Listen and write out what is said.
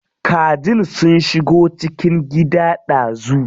Kajin sun shigo cikin gida dazu.